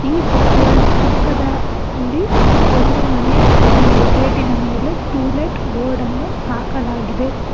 ಈ book world ಪಕ್ಕದ ಲ್ಲಿ ಒಂದು ಮನೆಯ ಗೇಟ್ ಇನ ಮೇಲೆ ಟು ಲೆಟ್ ಬೋರ್ಡ್ ಅನ್ನು ಹಾಕಲಾಗಿದೆ.